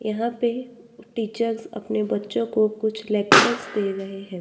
यहां पे टीचर्स अपने बच्चों को कुछ लेक्चर्स दे रहे हैं।